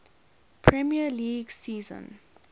premier league season